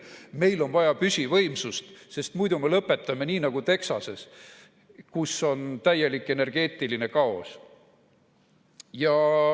Meil on vaja püsivõimsust, sest muidu me lõpetame nii nagu Texas, kus on täielik energeetiline kaos.